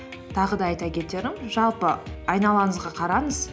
тағы да айта кетерім жалпы айналаңызға қараңыз